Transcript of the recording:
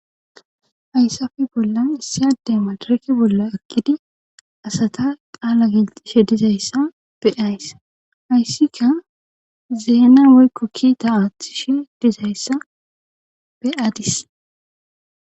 Hayssafe bollan issi ade matareke bolla ekkidi asata qaala gilxishe dizayssa beays hayssika zeena woykko kiita aaththishe dizayssa beaadis.